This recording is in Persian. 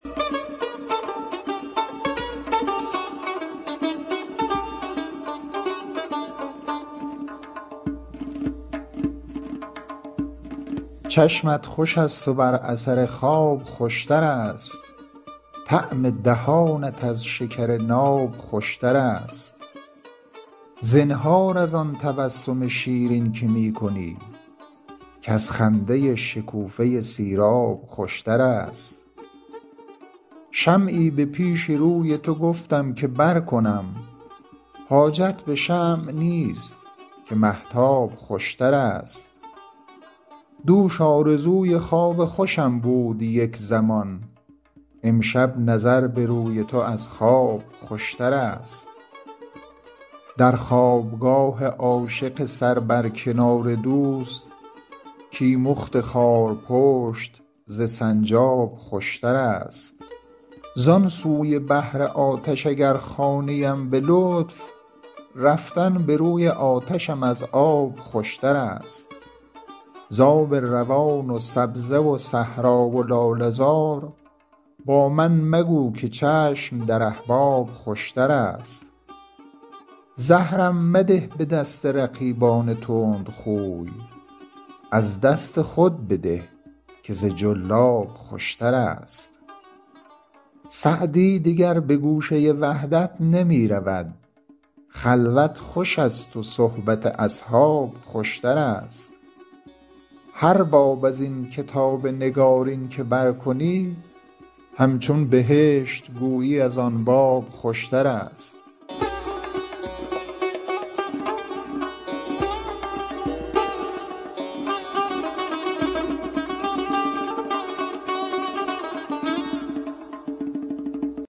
چشمت خوش است و بر اثر خواب خوش تر است طعم دهانت از شکر ناب خوش تر است زنهار از آن تبسم شیرین که می کنی کز خنده شکوفه سیراب خوش تر است شمعی به پیش روی تو گفتم که برکنم حاجت به شمع نیست که مهتاب خوش تر است دوش آرزوی خواب خوشم بود یک زمان امشب نظر به روی تو از خواب خوش تر است در خواب گاه عاشق سر بر کنار دوست کیمخت خارپشت ز سنجاب خوش تر است زان سوی بحر آتش اگر خوانیم به لطف رفتن به روی آتشم از آب خوش تر است ز آب روان و سبزه و صحرا و لاله زار با من مگو که چشم در احباب خوش تر است زهرم مده به دست رقیبان تندخوی از دست خود بده که ز جلاب خوش تر است سعدی دگر به گوشه وحدت نمی رود خلوت خوش است و صحبت اصحاب خوش تر است هر باب از این کتاب نگارین که برکنی همچون بهشت گویی از آن باب خوشترست